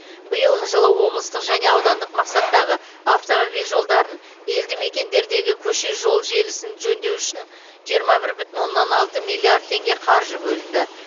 биылғы жылы облыстық және аудандық мақсаттағы автомобиль жолдарын елді мекендердегі көше жолы желісін жөндеу үшін жиырма бір бүтін оннан алты миллиард теңге қаржы бөлінді